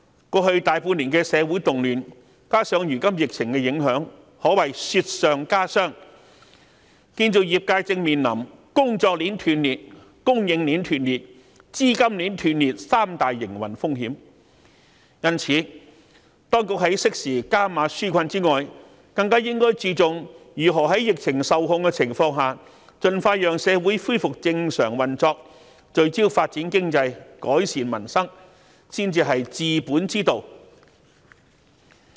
過去大半年的社會動亂，加上如今疫情影響，可謂雪上加霜，建造業界正面臨工作鏈、供應鏈及資金鏈斷裂三大營運風險，因此，當局在適時加碼紓困外，更應注重如何在疫情受控的情況下，盡快讓社會恢復正常運作、聚焦發展經濟及改善民生，才是治本之道。